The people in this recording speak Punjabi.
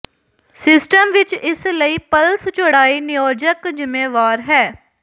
ਸਿਸਟਮ ਵਿੱਚ ਇਸ ਲਈ ਪਲਸ ਚੌੜਾਈ ਨਿਯੋਜਕ ਜ਼ਿੰਮੇਵਾਰ ਹੈ